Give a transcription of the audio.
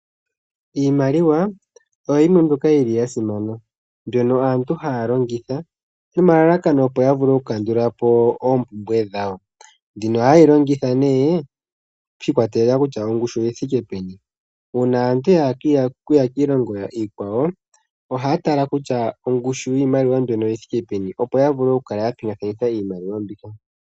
Iimaliwa oyo yimwe mbyoka yili ya simana mbyono aantu haya longitha nomalalakano opo yavule oku kandulapo oompumbwe dhawo. Mbino ohayeyi longitha nee shi ikwatelela kutya ongushi oyi thike peni .uuna aantu yahala okuya kiilongo iikwawo ohaya tala kutya ongushi yiimaliwa mbyono oyithike peni opo yavule okukala ya pingekanitha iimaliwa mbika.